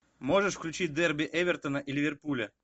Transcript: можешь включить дерби эвертона и ливерпуля